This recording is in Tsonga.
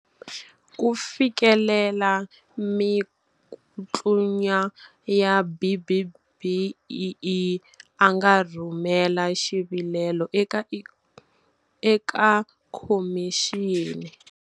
Ku fikelela mikutlunya ya B-BBEE, a nga rhumela xi vilelo eka khomixini.